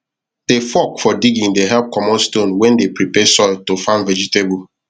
the fork for digging the help comot stone wen de prepare soil to farm vegetable